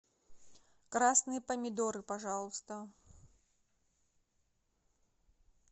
красные помидоры пожалуйста